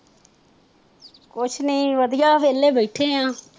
ਕੁਸ਼ ਨੀ ਵਧੀਆ ਵੇਹਲੇ ਬੈਠੇ ਆ